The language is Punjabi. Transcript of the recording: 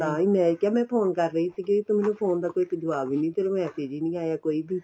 ਤਾਂਹੀ ਮੈਂ ਕਿਹਾ ਮੈਂ ਫੋਨ ਕਰ ਰਹੀ ਸੀਗੀ ਤੂੰ ਮੈਨੂੰ ਫੋਨ ਦਾ ਕੋਈ ਜੁਆਬ ਹੀ ਨਹੀਂ ਤੇਰਾਂ massage ਵੀ ਨਹੀਂ ਆਇਆ ਕੋਈ ਵੀ